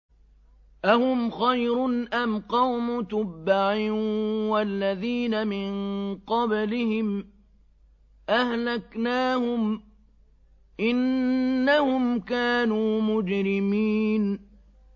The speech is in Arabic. أَهُمْ خَيْرٌ أَمْ قَوْمُ تُبَّعٍ وَالَّذِينَ مِن قَبْلِهِمْ ۚ أَهْلَكْنَاهُمْ ۖ إِنَّهُمْ كَانُوا مُجْرِمِينَ